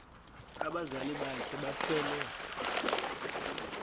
abazali bakhe bethwele